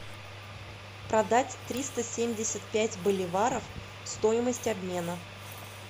продать триста семьдесят пять боливаров стоимость обмена